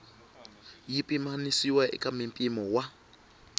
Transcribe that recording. yi pimanisiwa eka mimpimo wa